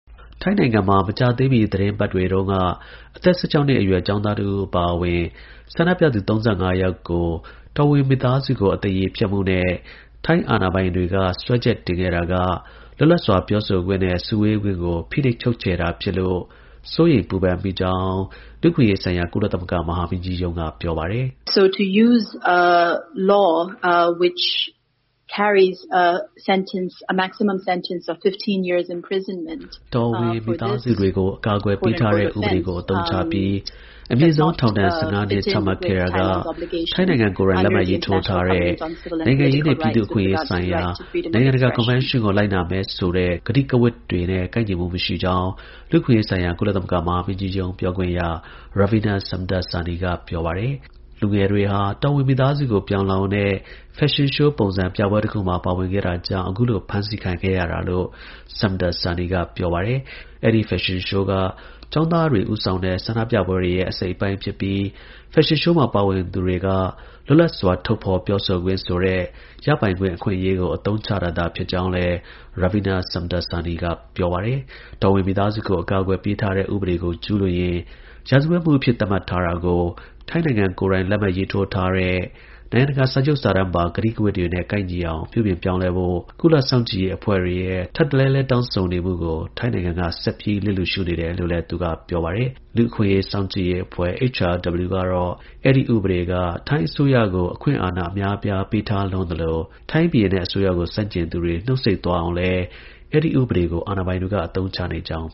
ထိုင်းနိုင်ငံမှာ မကြာသေးမီ သီတင်းပတ်တွေအတွင်းက အသက် ၁၆ နှစ်အရွယ် ကျောင်းသားတဦး အပါအဝင် ဆန္ဒပြသူ ၃၅ ယောက်ကို တော်ဝင်မိသားစုကို အသရေဖျက်မှုနဲ့ ထိုင်းအာဏာပိုင်တွေက စွဲချက်တင်ခဲ့တာက လွတ်လပ်စွာ ပြောဆိုခွင့်နဲ့ စုဝေးခွင့်ကို ဖိနှိပ်ချုပ်ချယ်တာဖြစ်လို့ စိုးရိမ်ပူပန်မိကြောင်း လူ့အခွင့်အရေးဆိုင်ရာ ကုလသမဂ္ဂ မဟာမင်းကြီးရုံးက ပြောပါတယ်။ တော်ဝင်မိသားစုတွေကို အကာအကွယ်ပေးထားတဲ့ ဥပဒေကို အသုံးချပြီး အမြင့်ဆုံး ထောင်ဒဏ် ၁၅ နှစ် ချမှတ်ခဲ့တာက ထိုင်းနိုင်ငံကိုယ်တိုင် လက်မှတ်ရေးထိုးထားတဲ့ နိုင်ငံရေးနဲ့ ပြည်သူအခွင့်အရေးဆိုင်ရာ နိုင်ငံတကာ ကွန်ဗင်းရှင်းကို လိုက်နာမယ်ဆိုတဲ့ ကတိကဝတ်တွေနဲ့ ကိုက်ညီမှုမရှိကြောင်း လူ့အခွင့်အရေးဆိုင်ရာ ကုလသမဂ္ဂ မဟာမင်းကြီးရုံး ပြောခွင့်ရ Ravina Shamdasani က ပြောပါတယ်။ လူငယ်တွေဟာ တော်ဝင်မိသားစုကို ပြောင်လှောင်တဲ့ ဖက်ရှင်ရှိုးပုံစံ ပြပွဲတခုမှာ ပါဝင်ခဲ့တာကြောင့် ဖမ်းဆီးခံရတာလို့ Shamdasani ကပြောပါတယ်။ အဲဒီဖက်ရှင်ရှိုးက ကျောင်းသားတွေ ဦးဆောင်တဲ့ ဆန္ဒပြပွဲရဲ့ အစိတ်အပိုင်းဖြစ်ပြီး ဖက်ရှင်ရှိုးမှာ ပါဝင်သူတွေက လွတ်လပ်စွာ ထုတ်ဖော်ပြောဆိုခွင့်ဆိုတဲ့ သူတို့ ရပိုင်ခွင့် အခွင့်အရေးကို အသုံးချတာသာ ဖြစ်တယ်လို့လည်း Ravina Shamdasani က ပြောပါတယ်။ တော်ဝင်မိသားစုကို အကာအကွယ်ပေးထားတဲ့ ဥပဒေကို ကျူးလွန်ရင် ရာဇဝတ်မှုအဖြစ် သတ်မှတ်ထားတာကို ထိုင်းနိုင်ငံကိုယ်တိုင် လက်မှတ်ရေးထိုးတားတဲ့ နိုင်ငံတကာ စာချုပ်စာတမ်းပါ ကတိကဝတ်တွေနဲ့ ကိုက်ညီအောင် ပြုပြင်ပြောင်းလဲဖို့ ကုလသမဂ္ဂ လူ့အခွင့်အရေးကော်မတီ အပါအဝင် ကုလ စောင့်ကြည့်ရေးအဖွဲ့တွေရဲ့ ထပ်တလဲလဲ တောင်းဆိုနေတာကို ထိုင်းတို့ ဆက်ပြီး လျစ်လျူရှုနေတယ်လို့လည်း သူက ပြောပါတယ်။ အဲဒီဥပဒေက ထိုင်းအစိုးရကို အခွင့်အာဏာ အများအပြား ပေးထားလွန်းသလို ထိုင်းဘုရင်နဲ့ အစိုးရကို ဆန့်ကျင်သူတွေ နှုတ်ပိတ်သွားအောင်လည်း အဲဒီဥပဒေကို အသုံးချနေကြောင်